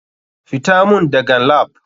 FITA mun dagan lap.